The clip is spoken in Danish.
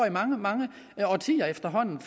i mange mange årtier efterhånden